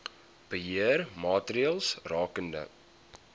beheer maatreëls rakende